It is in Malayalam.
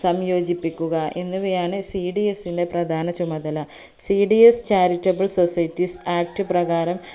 സംയോജിപ്പിക്കുക എന്നിവയാണ് cds ന്റെ പ്രധാന ചുമതല cdscharitable societies act പ്രകാരം